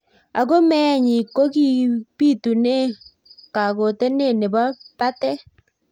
Ako meet nyi kokibitune kakotenet nebo batet.